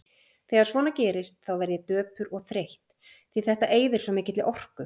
Þegar svona gerist þá verð ég döpur og þreytt, því þetta eyðir svo mikilli orku.